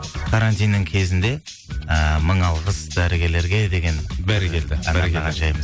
карантиннің кезінде ыыы мың алғыс дәрігерлерге деген бәрекелді арнаған жайымыз